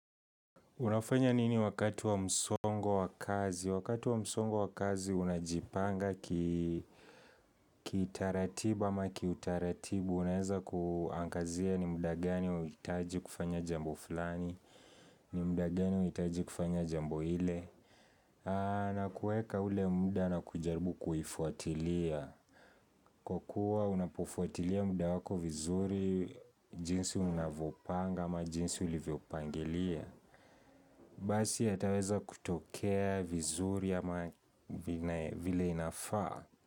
Unafanya nini wakati wa msongo wa kazi? Wakati wa msongo wa kazi unajipanga kitaratibu ama kiutaratibu. Unaweza kuangazia ni muda gani unahitaji kufanya jambo fulani, ni muda gani huhitaji kufanya jambo ile. Na kuweka ule muda na kujaribu kuifwatilia. Kwa kuwa unapofwatilia muda wako vizuri jinsi unavyopanga ama jinsi ulivyopangilia. Basi yataweza kutokea vizuri ama vile inafaa.